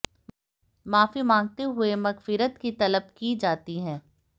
माफी मांगते हुए मगफिरत की तलब की जाती है